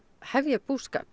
hefja búskap